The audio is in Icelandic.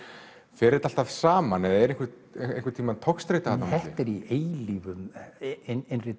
fer þetta alltaf saman eða er einhver togstreita þarna þetta er í eilífum innri